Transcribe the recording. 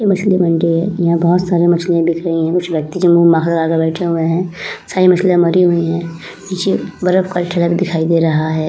ये मछली मंडी है। यहाँ बोहोत सारे मछलियां दिख रही हैं। कुछ व्यक्ति जो मुँह लगा के बैठे हुए हैं। सारी मछलियाँ मरी हुई हैं। पीछे बरफ का ठेला भी दिखाई दे रहा है।